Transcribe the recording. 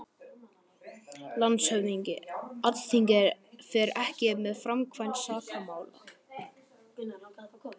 LANDSHÖFÐINGI: Alþingi fer ekki með framkvæmd sakamála.